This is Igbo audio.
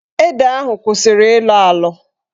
Ede ahụ kwụsịrị ịlọ alọ.